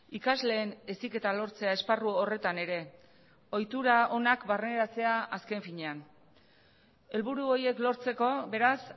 ikasleen heziketa lortzea esparru horretan ere ohitura onak barneratzea azken finean helburu horiek lortzeko beraz